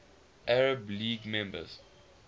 arab league member